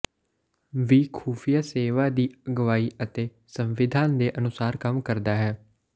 ਵੀ ਖੁਫੀਆ ਸੇਵਾ ਦੀ ਅਗਵਾਈ ਅਤੇ ਸੰਵਿਧਾਨ ਦੇ ਅਨੁਸਾਰ ਕੰਮ ਕਰਦਾ ਹੈ